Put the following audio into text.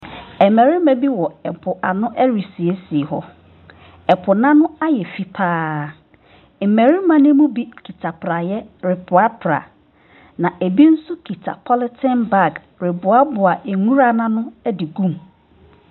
Mmarima bi wɔ po ano resiesie hɔ, po n’ano ayɛ fii pa ara, mmarima ne bi kita praeɛ reprapra, na bi nso kita polythene bag reboaboa nwura n’ano de gu mu.